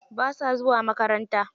Basa zuwa makaranta.